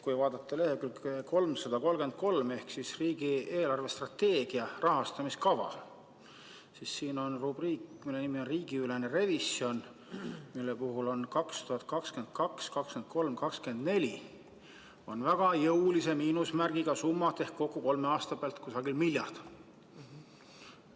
Kui vaadata lehekülge 333 ehk riigi eelarvestrateegia 2021–2024 rahastamiskava, siis siin on rubriik, mille nimi on riigiülene revisjon, mille puhul on 2022–2024 väga jõulise miinusmärgiga summad ehk kokku kolme aasta pealt kusagil miljard.